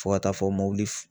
Fo ka taa fɔ mobili